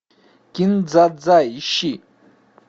кин дза дза ищи